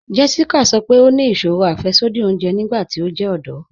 Jéssíkà sọ́ pé ó ní ìṣòrò afẹ̀ṣọdí òunjè nígbàtí ó jẹ ọdọ̀.